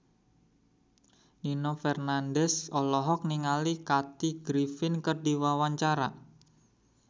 Nino Fernandez olohok ningali Kathy Griffin keur diwawancara